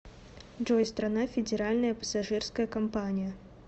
джой страна федеральная пассажирская компания